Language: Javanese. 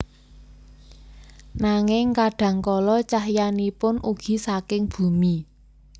Nanging kadhang kala cahyanipun ugi saking bumi